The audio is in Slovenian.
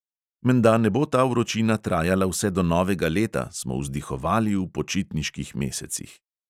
Menda ne bo ta vročina trajala vse do novega leta, smo vzdihovali v počitniških mesecih.